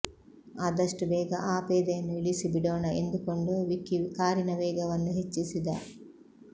ಆದಷ್ಟು ಬೇಗ ಆ ಪೇದೆಯನ್ನು ಇಳಿಸಿ ಬಿಡೋಣ ಎಂದುಕೊಂಡು ವಿಕ್ಕಿ ಕಾರಿನ ವೇಗವನ್ನು ಹೆಚ್ಚಿಸಿದ